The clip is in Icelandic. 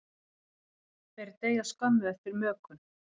Þeir deyja skömmu eftir mökun.